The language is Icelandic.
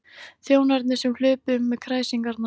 Þjónarnir sem hlupu um með kræsingarnar.